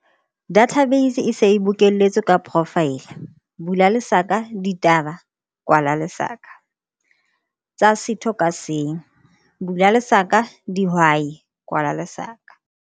Database e se e bokelletswe ka profaele, ditaba, tsa setho ka seng, dihwai.